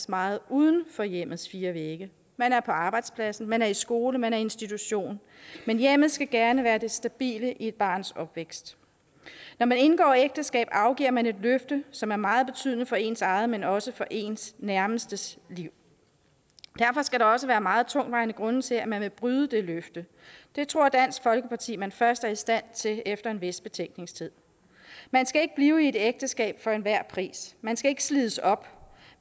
meget uden for hjemmets fire vægge man er på arbejdspladsen man er i skole man er i institution men hjemmet skal gerne være det stabile i et barns opvækst når man indgår ægteskab afgiver man et løfte som er meget betydende for ens eget men også for ens nærmestes liv derfor skal der også være meget tungtvejende grunde til at man vil bryde det løfte dem tror dansk folkeparti man først er i stand at se efter en vis betænkningstid man skal ikke blive i et ægteskab for enhver pris man skal ikke slides op